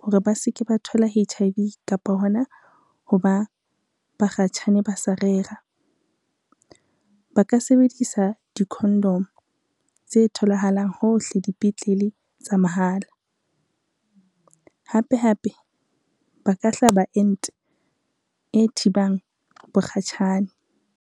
hore ba se ke ba thola H_I_V kapa hona ho ba bakgatjhane ba sa rera. Ba ka sebedisa dikhondomo tse tholahalang hohle dipetlele tsa mahala, hape hape ba ka hlaba ente e thibang bokgatjhane.